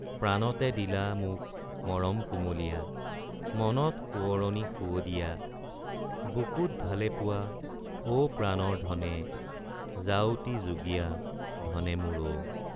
প্ৰাণতে দিলা মোক মৰম কুমলীয়া মনত সোৱৰণী সুৱদীয়া বুকত ভালে পোৱা অ প্ৰাণৰ ধনে যাউতি যুগীয়া ধনে মোৰ অ।